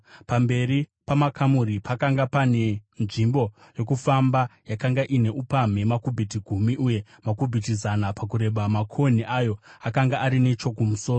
Pamberi pamakamuri pakanga pane nzvimbo yokufamba yakanga ine upamhi makubhiti gumi uye makubhiti zana pakureba. Makonhi ayo akanga ari nechokumusoro.